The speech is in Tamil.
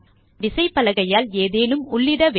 நாம் விசைப்பலகையால் ஏதேனும் உள்ளிட வேண்டும்